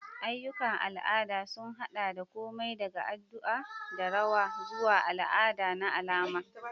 Ayyukan al'ada sun haɗa da komai daga addu'a da rawa zuwa al'ada na alama.